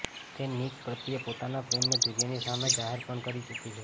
તે નિક પ્રત્યે પોતાના પ્રેમને દુનિયાની સામે જાહેર પણ કરી ચૂકી છે